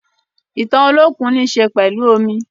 Ìtàn Olókùn yika ninú omi.